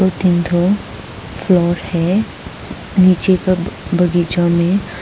तीन ठो फ्लावर है नीचे का ब बगीचा में।